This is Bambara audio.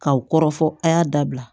K'aw kɔrɔfɔ a y'a dabila